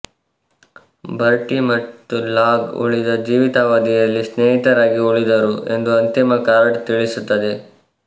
Bertie ಮತ್ತು Logue ಉಳಿದ ಜೀವಿತಾವಧಿಯಲ್ಲಿ ಸ್ನೇಹಿತರಾಗಿ ಉಳಿದರು ಎಂದು ಅಂತಿಮ ಕಾರ್ಡ್ ತಿಳಿಸುತ್ತದೆ